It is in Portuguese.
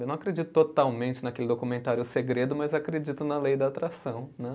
Eu não acredito totalmente naquele documentário Segredo, mas acredito na Lei da Atração, né?